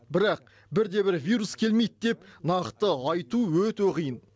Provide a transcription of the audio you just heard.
бірақ бірде бір вирус келмейді деп нақты айту өте қиын